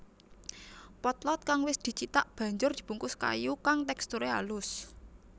Potlot kang wis dicithak banjur dibungkus kayu kang teksturé alus